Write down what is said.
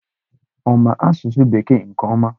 Ọ ma asụsụ Bekee nke ọma?